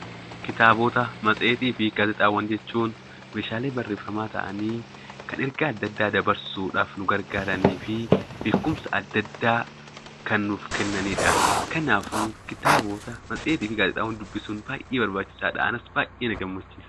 Kitaabota, matseetii fi gaazexaawwan jechuun meeshaalee barreeffamaa ta'anii, kan ergaa adda addaa dabarsuudhaaf nu gargaaranii fi beekumsa adda addaa kan nuuf kennanidha. Kanaafuu kitaabota, matseetii fi gaazexaawwan dubbisuun baay'ee barbaachisaadha. Anas baay'ee na gammachiisa!